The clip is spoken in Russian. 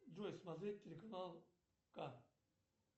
джой смотреть телеканал ка